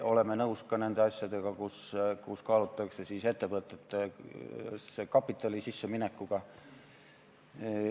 Oleme nõus ka nende asjadega, mille puhul kaalutakse ettevõtetesse kapitali paigutada.